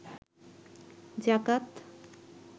যাকাত